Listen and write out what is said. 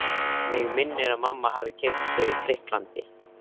Mig minnir að mamma hafi keypt þau í Grikklandi.